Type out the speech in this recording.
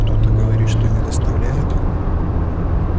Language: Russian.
кто-то говорит что не доставляет